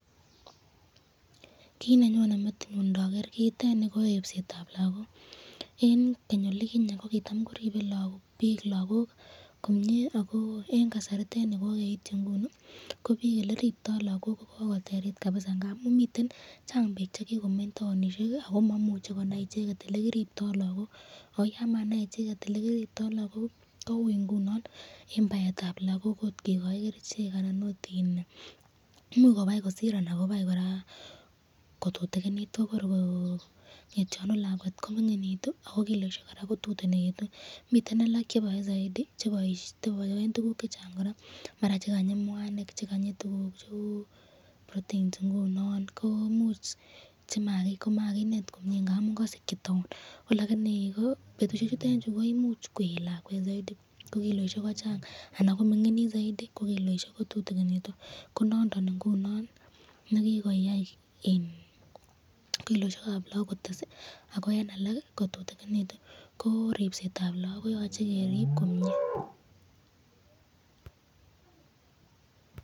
Kiit nenyone metinyun inokeer kiitet nii koribsetab lokok, en Keny olikinyee kokitam koribe biik lokok komnyee ak ko en kasaritet nii kokeityi ng'uni ko biik eleriptoo lokok ko kokoterit kabisaa ng'amun miten chang biik chekikomeny taonishek ak ko momuche konai icheket elekiripto lokok, ak ko yaan manaii icheket elekiriptoo lokok kouu ing'unon ak kot kikoii kerichek anan imuuch kobaii kosir anan imuch kora kotutukinit kotor ko ngetionu lakwet kominginitu ak ko kiloishek kotutunekitu, miten alaak cheboe soiti cheboen tukuk chechang kora maran chekanyi mwanik, chekanyi tukuk cheuu proteins komuuch komakinet komiee ng'amun kosikyii taon, ko lakini betushechutet chuu koimuch koyeet lakwet soitii ko kiloishek ko chang anan kominginit soitii ko kiloishek ko tutukinitu, konondon ing'unon nekikoyai kiloishekab lokok ak ko en alak kotutukinitun, ko ribsetab lokok koyoche keriib komnyee.